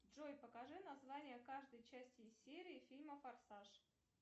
джой покажи название каждой части серии фильма форсаж